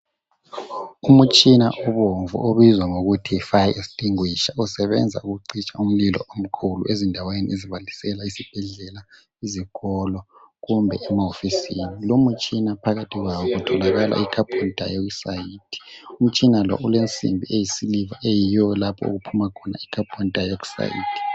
Umtshina obomvu obizwa ngokuthi yi fire extinguisher usebenza ukucitsha umlilo omkhulu ezindaweni ezi esibhedlela ezikolo kumbe ema hofisini loumtshina phakathi kwawo kutholakala icarbo dioxide, umtshina lo ulensimbi eyisiliva okuphuma khona icarbo dioxide.